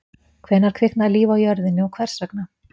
hvenær kviknaði líf á jörðinni og hvers vegna